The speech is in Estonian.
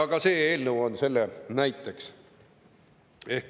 Ka see eelnõu on selle üheks näiteks.